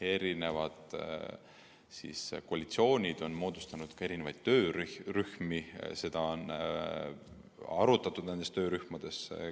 Eri koalitsioonid on moodustanud ka töörühmi ja seda teemat on nendes töörühmades arutatud.